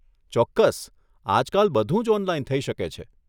ચોક્કસ, આજકાલ બધું જ ઓનલાઈન થઇ શકે છે.